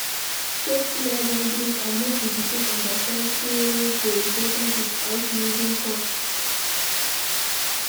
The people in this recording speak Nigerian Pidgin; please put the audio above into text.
Set clear boundries and make di pikin understand sey rules dey important without using force